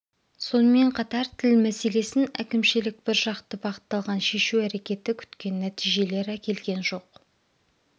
сонымен қатар тіл мәселесін әкімшілік біржақты бағытталған шешу әрекеті күткен нәтижелер әкелген жоқ